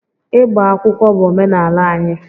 Ịgba akwụkwọ bụ omenala anyị